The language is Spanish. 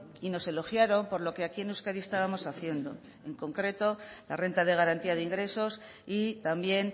y nos elogiaron por lo que aquí en euskadi estábamos haciendo en concreto la renta de garantía de ingresos y también